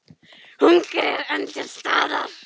Hungrið er enn til staðar.